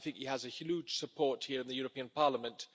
I think he has a huge support here in the European Parliament.